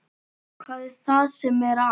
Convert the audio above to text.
Hvað er það sem er að?